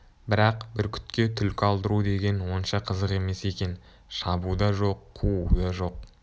бірақ бүркітке түлкі алдыру деген онша қызық емес екен шабу да жоқ қуу да жоқ